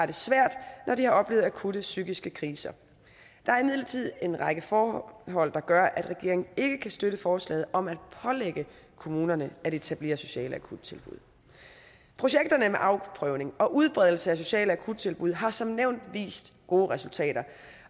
det svært når de har oplevet akutte psykiske kriser der er imidlertid en række forhold der gør at regeringen ikke kan støtte forslaget om at pålægge kommunerne at etablere sociale akuttilbud projekterne med afprøvning og udbredelse af sociale akuttilbud har som nævnt vist gode resultater